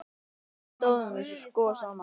Þá stóðum við sko saman.